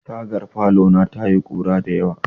Tagar falona ta yi ƙura dayawa.